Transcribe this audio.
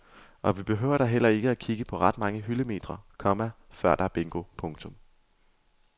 Og vi behøver da heller ikke kigge på ret mange hyldemetre, komma før der er bingo. punktum